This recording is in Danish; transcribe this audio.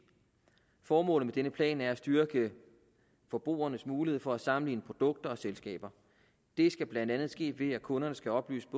formålet med denne plan er at styrke forbrugernes mulighed for at sammenligne produkter og selskaber det skal blandt andet ske ved at kunderne skal oplyses